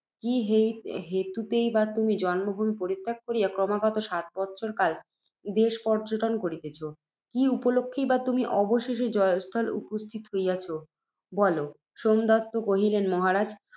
কি হেতু ~ হেতুতেই বা তুমি, জন্মভূমি পরিত্যাগ করিয়া, ক্রমাগত সাত বৎসর কাল দেশপর্য্যটন করিতেছ? কি উপলক্ষেই বা তুমি অবশেষে জয়স্থলে উপস্থিত হইয়াছ, বল। সোমদত্ত কহিলেন, মহারাজ!